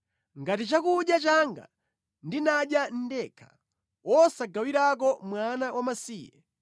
ngati chakudya changa ndinadya ndekha, wosagawirako mwana wamasiye,